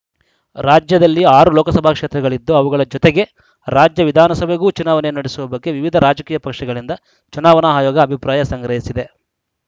ರಾಜ್ಯದಲ್ಲಿ ಆರು ಲೋಕಸಭಾ ಕ್ಷೇತ್ರಗಳಿದ್ದು ಅವುಗಳ ಜೊತೆಗೇ ರಾಜ್ಯ ವಿಧಾನಸಭೆಗೂ ಚುನಾವಣೆ ನಡೆಸುವ ಬಗ್ಗೆ ವಿವಿಧ ರಾಜಕೀಯ ಪಕ್ಷಗಳಿಂದ ಚುನಾವಣಾ ಆಯೋಗ ಅಭಿಪ್ರಾಯ ಸಂಗ್ರಹಿಸಿದೆ